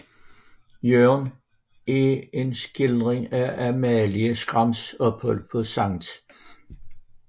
Jørgen er en skildring af Amalie Skrams ophold på Skt